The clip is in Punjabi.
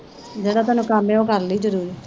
ਜਿਹੜਾ ਤੈਨੂੰ ਕੰਮ ਹੈ ਉਹ ਕਰ ਲਈ ਜ਼ਰੂਰ।